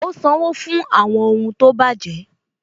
Ó sanwó fún àwọn ohun tó bàjẹ́